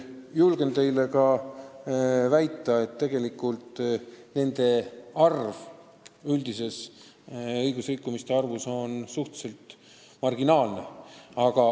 Samas julgen teile kinnitada, et tegelikult on nende osakaal üldises õigusrikkumiste arvus marginaalne.